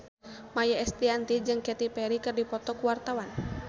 Maia Estianty jeung Katy Perry keur dipoto ku wartawan